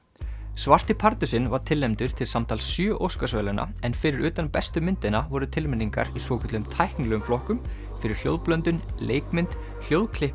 svarti pardusinn var tilnefndur til samtals sjö Óskarsverðlauna en fyrir utan bestu myndina voru tilnefningarnar í svokölluðum tæknilegum flokkum fyrir hljóðblöndun leikmynd